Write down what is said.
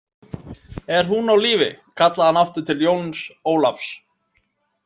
Er hún á lífi, kallaði hann aftur til Jóns Ólafs